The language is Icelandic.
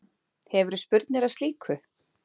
Hefurðu spurnir af slíku?